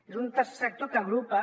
és un tercer sector que agrupa